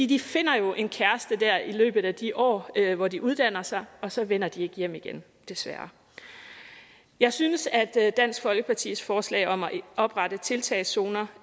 de finder jo en kæreste der i løbet af de år hvor de uddanner sig og så vender de ikke hjem igen desværre jeg synes at dansk folkepartis forslag om at oprette tiltagszoner